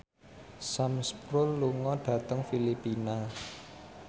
Sam Spruell lunga dhateng Filipina